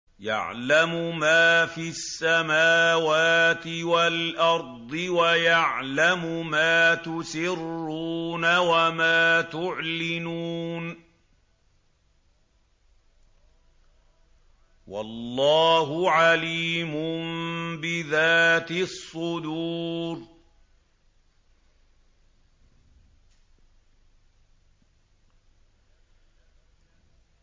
يَعْلَمُ مَا فِي السَّمَاوَاتِ وَالْأَرْضِ وَيَعْلَمُ مَا تُسِرُّونَ وَمَا تُعْلِنُونَ ۚ وَاللَّهُ عَلِيمٌ بِذَاتِ الصُّدُورِ